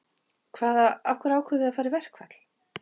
Hvaða, af hverju ákváðuð þið að fara í verkfall?